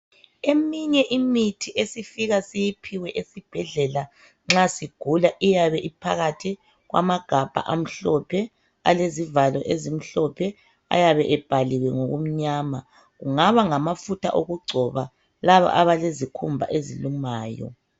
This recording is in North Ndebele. Eminye imithi esifika siyiphiwe esibhedlela nxa sigula iyabe iphakathi kwamagabha amhlophe ale sivalo esimhlophe .Ayabe ebhaliwe ngokumnyama kungaba ngamafutha okugcoba laba abale sikhumba esilumayo .